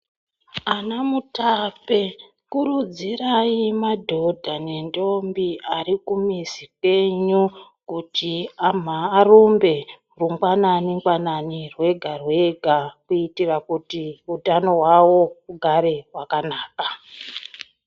Ana mutape kurudzirai madhodha nendombi ari kumizi kwenyu. Kuti arumbe rungwanani-ngwanani, rwega-rwega, Kuitira kuti utano hwavo hugare hwakanaka.